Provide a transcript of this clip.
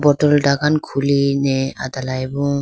bottle dhakkan khuli ne adela bo.